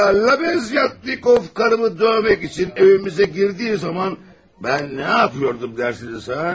Lavyatnikov karımı dövmək üçün evimizə girdiyi zaman mən nə yapıyordum, dərsiniz ha?